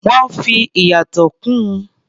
Wọ́n fi ìyàtọ̀ kún un.